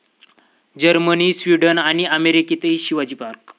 Germany, Sweden आणि अमेरिकेतही Shivaji park!